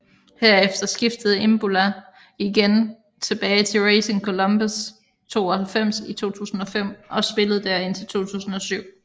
Herefter skiftede Imbula igen tilbage til Racing Colombes 92 i 2005 og spillede der indtil 2007